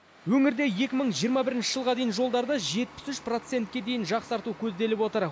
өңірде екі мың жиырма бірінші жылға дейін жолдарды жетпіс үш процентке дейін жақсарту көзделіп отыр